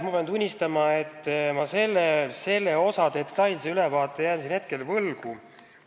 Ma pean tunnistama, et ma selle detailse ülevaate jään hetkel võlgu.